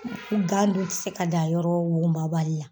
Gan dunp tɛ se ka dan yɔrɔ wugumabali la.